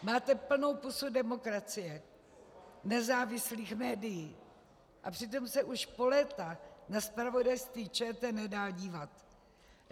Máte plnou pusu demokracie, nezávislých médií, a přitom se už po léta na zpravodajství ČT nedá dívat.